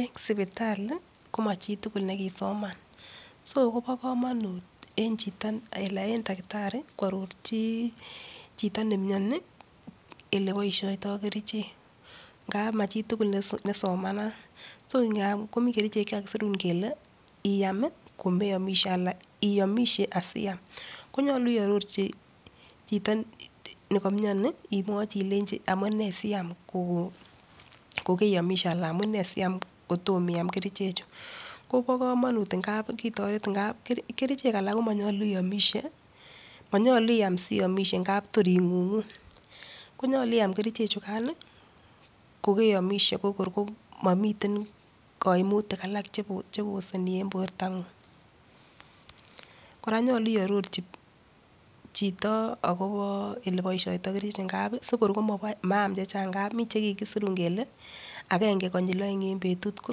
Eng sipitali, koma chituvul ne kisoman.so kobo komonut en chito anan en takitari, koarorchi chito nemiani, ele boishoitoi kerichek, Ngap ma chitugul ne somanat. Ngap komi kerichek che kakisirun Kele iamisheanan iamishe asiam. Konyolu iarorchi nekamiani, imwach ilenjin amune siam kokeiamishe anan iam kotom iam kerichek. Ko bo komonut ngap kikotoret, ngap kerichek alak ko manyolu iamishe manyalu iam siamishe ngap imuch ing'ung'u. Konyolu iam kerichek chukan kokeiamishe ko kor kimamiten kaimutik alak che koseni eng portang'ung. kora nyolu iarorchi chito akobo ale boishoitoi kerichek. Ngap simakoi maam che chang, ngap miche kikisir kele agenge konyil oeng eng betut, ko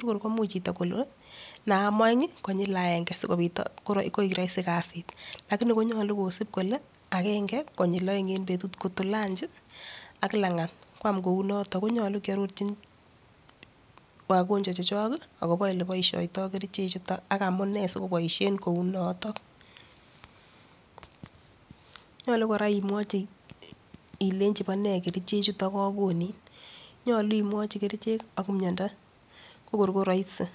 kor komuch chito kole naam oeng konyil agenge si koek rahisi kasit. Lakini yalu kosip kile agenge kobyi oeng eng betut. Ngot ko lanchi ak langat kiam kou notok. Ko nyolu kiarorchin wagonjwa chechok ele boishoitii kerichek chukok. Ak amune sikoboishen kou notok. Nyalu kkra imwachi ilechi vo nee kerichek chutok kakonin. Nyolu imwachi kerichek ak miandi ko kor ko rahisi kabisa